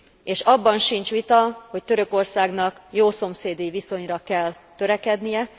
És abban sincs vita, hogy Törökországnak jószomszédi viszonyra kell törekednie.